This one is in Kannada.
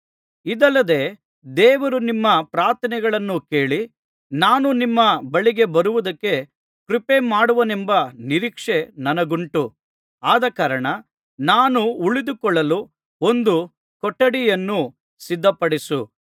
ಇದಲ್ಲದೆ ದೇವರು ನಿಮ್ಮ ಪ್ರಾರ್ಥನೆಗಳನ್ನು ಕೇಳಿ ನಾನು ನಿಮ್ಮ ಬಳಿಗೆ ಬರುವುದಕ್ಕೆ ಕೃಪೆ ಮಾಡುವನೆಂಬ ನಿರೀಕ್ಷೆ ನನಗುಂಟು ಆದಕಾರಣ ನಾನು ಉಳಿದುಕೊಳ್ಳಲು ಒಂದು ಕೊಠಡಿಯನ್ನು ಸಿದ್ಧಪಡಿಸು